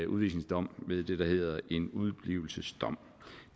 udvisningsdom ved det der hedder en udeblivelsesdom